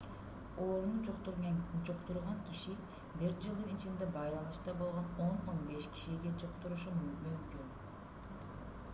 ооруну жуктурган киши бир жылдын ичинде байланышта болгон 10-15 кишиге жуктурушу мүмкүн